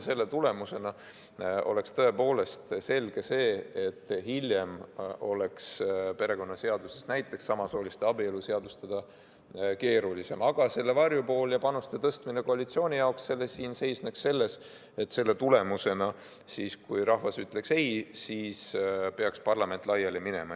Selle tulemusena oleks tõepoolest selge, et hiljem oleks perekonnaseaduses näiteks samasooliste abielu seadustada keerulisem, aga selle varjupool ja panuste tõstmine koalitsiooni jaoks seisneks selles, et selle tulemusena, kui rahvas ütleks ei, peaks parlament laiali minema.